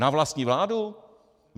Na vlastní vládu?